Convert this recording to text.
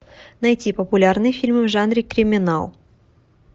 найти популярный фильм в жанре криминал